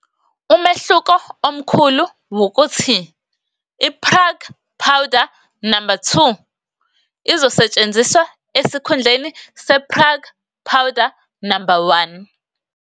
Umehluko omkhulu wukuthi i-Prague powder number 2 izosetshenziswa esikhundleni se-Prague powder number 1.